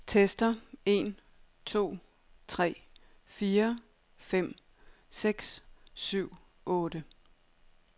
Tester en to tre fire fem seks syv otte.